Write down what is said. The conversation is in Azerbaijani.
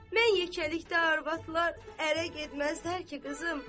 Mən yekəlikdə arvadlar ərə getməzlər ki, qızımdır.